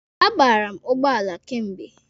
A bara m ụgbọala kemgbe.